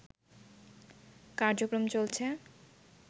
কার্যক্রম চলছে